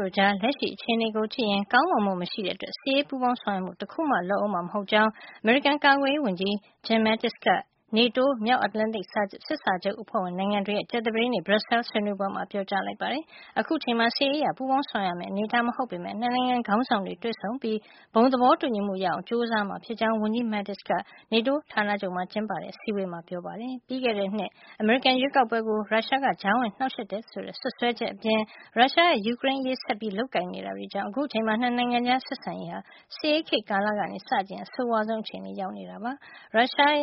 တို့ကြား လက်ရှိ အခြေနေကိုကြည့်ရင် ကောင်းမွန်မှု မရှိတဲ့အတွက် စစ်ရေးပူးပေါင်းဆောင်ရွက်မှု တခုမှ လုပ်ဦးမှာ မဟုတ်ကြောင်း အမေရိကန် ကာကွယ်ရေးဝန်ကြီး Jim Mattis က NATO မြောက်အတ္တလန်တိတ် စစ်စာချုပ်အဖွဲ့ဝင်နိုင်ငံတွေရဲ့ ကြာသပတေးနေ့ Brussels က ဆွေးနွေးပွဲမှာ ပြောကြားလိုက်ပါတယ်။ အခုအချိန်မှာ စစ်ရေးအရ ပူးပေါင်းဆောင်ရွက်ရမယ့် အနေအထားမဟုတ်ပေမယ့် ၂ နိုင်ငံခေါင်းဆောင်တွေ တွေ့ဆုံပြီး ဘုံ သဘောတူညီမှု ရအောင်ကြိုးစားကြမှာ ဖြစ်ကြောင်း ဝန်ကြီး Mattis က နေတိုးဌာနချုပ်မှာ ကျင်းပတဲ့ အစည်းအဝေးမှာ ပြောကြားခဲ့တာပါ။ ပြီးခဲ့တဲ့နှစ် အမေရိကန်ရွေးကောက်ပွဲကို ရုရှားက ကြားဝင်နှောက်ယှက်တယ်ဆိုတဲ့ စွပ်စွဲချက်တွေ အပြင် ရုရှားရဲ့ ယူကရိန်းအရေး ဆက်ပြီး လုပ်ဆောင်နေတာတွေကြောင့် အခုချိန်မှာ ၂ နိုင်ငံကြား ဆက်ဆံရေးဟာ စစ်အေးခေတ် ကာလကနေ စကြည့်ရင် အဆိုးဝါးဆုံး အခြေနေကို ရောက်နေတာ ဖြစ်ပါတယ်။ ရုရှား